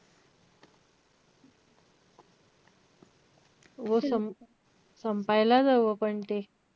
हो सम~ संपायलाच हवं पण ते.